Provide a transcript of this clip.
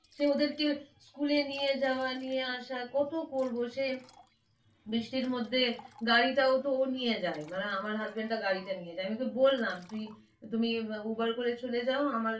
সে ওদেরকে স্কুলে নিয়ে যাওয়া নিয়ে আসা কত করবো, সে বৃষ্টির মধ্যে গাড়িটাও তো ও নিয়ে যায়, মানে আমার husband টা গাড়িটা নিয়ে যায় আমিতো বললাম তুই~তুমি uber করে চলে যাও আমার,